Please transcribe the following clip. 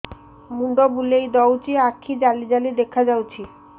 ମୁଣ୍ଡ ବୁଲେଇ ଦଉଚି ଆଖି ଜାଲି ଜାଲି ଦେଖା ଯାଉଚି